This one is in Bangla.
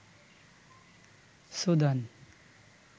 সুদান